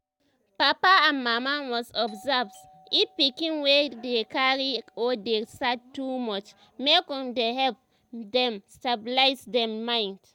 papa and mama must observe if pikin wey dey cry or dey sad too much make um dem help um dem stabilize dem mind